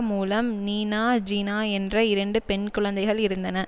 மூலம் நீநா ஜீனா என்ற இரண்டு பெண் குழந்தைகள் இருந்தன